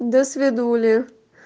досвидули